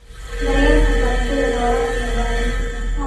Daryeelka dalagyada leh waraabka iyo bacriminta.